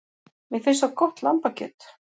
Mér finnst svo gott lambakjöt.